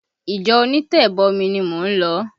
Ìjọ onitebomi ni mò ń lọ